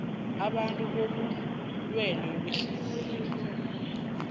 abantu bobulwele behliziyo